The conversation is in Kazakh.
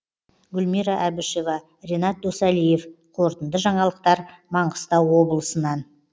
гүлмира әбішева ренат досалиев қорытынды жаңалықтар маңғыстау облысынан